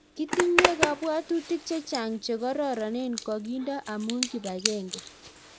Kitinywe kabwotutik chechang chekororonen kokindo amu kipagenge